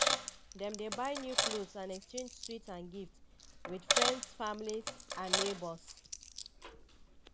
dem dey buy new clothes and exchange sweets and gifts wit friends families and neighbours.